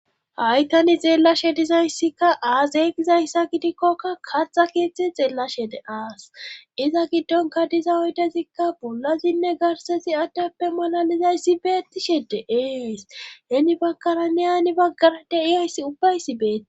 Haytani xeellashe dizayssikka aazeygizayssa gidikkokka katxa keetztzhe xeellashe de aas iza giddonka diza oydezikka bolazinne garsesi addappe malalizayssi beettishe de7ees heeni baggaranne aani baggara deiyayssi ubbaysi beeti.